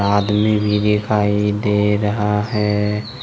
आदमी भी दिखाई दे रहा है।